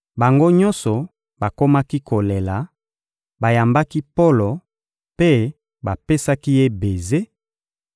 Bango nyonso bakomaki kolela, bayambaki Polo mpe bapesaki ye beze;